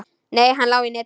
Nei, hann lá í netinu.